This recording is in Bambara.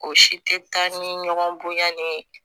O si tɛ taa ni ɲɔgɔn bonya ni ye